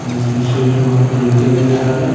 जिसमें सुरज भगवान को रोकते नजर आ रहे हैं।